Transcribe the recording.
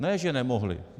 Ne že nemohly.